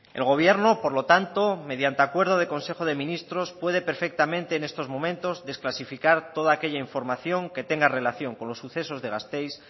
el gobierno por lo tanto mediante acuerdo de consejo de ministros puede perfectamente en estos momentos desclasificar toda aquella información que tenga relación con los sucesos de gasteiz